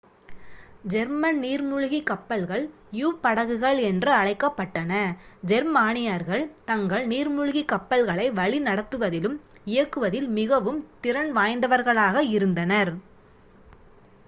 German நீர்மூழ்கிக் கப்பல்கள் யு-படகுகள் என்று அழைக்கப்பட்டன ஜெர்மானியர்கள் தங்கள் நீர்மூழ்கிக் கப்பல்களை வழிநடத்துவதிலும் இயக்குவதில் மிகவும் திறன் வாய்ந்தவர்களாக இருந்தனர்